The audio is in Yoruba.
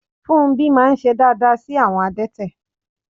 Fúnmbí máà ń ṣe dááda sí àwọn adẹ́tẹ̀